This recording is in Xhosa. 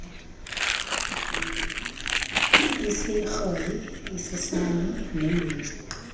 isirhoyi isisan neelwimi